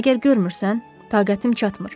Məgər görmürsən, taqətim çatmır.